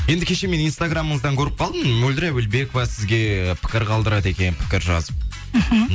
енді кеше мен инстаграмыңыздан көріп қалдым мөлдір әуелбекова сізге пікір қалдырады екен пікір жазып мхм